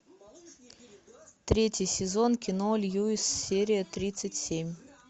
третий сезон кино льюис серия тридцать семь